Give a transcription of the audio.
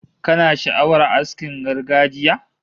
Kana sha'awar askin gargajiya?